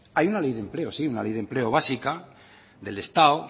hay una ley de empleo sí una ley de empleo básica del estado